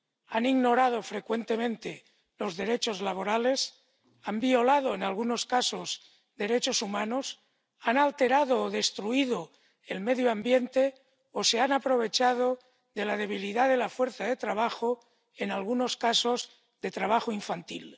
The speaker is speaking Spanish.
Han ignorado frecuentemente los derechos laborales, han violado en algunos casos derechos humanos, han alterado o destruido el medio ambiente o se han aprovechado de la debilidad de la fuerza de trabajo, en algunos casos del trabajo infantil.